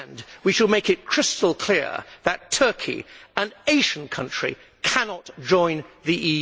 We should make it crystal clear that Turkey, an Asian country, cannot join the